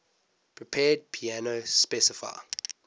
prepared piano specify